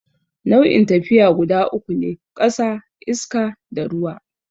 Nau'in tafiya guda uku ne, ƙasa, iska, da ruwa.